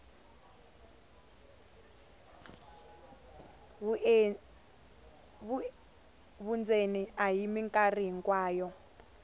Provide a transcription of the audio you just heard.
vundzeni a hi mikarhi hinkwayo